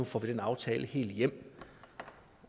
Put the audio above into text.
får den aftale helt hjem